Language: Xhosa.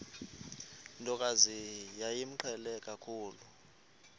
ntokazi yayimqhele kakhulu